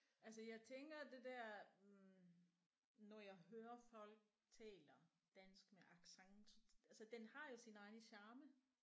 Altså jeg tænker det der når jeg hører folk taler dansk med accent så altså den har jo sin egne charme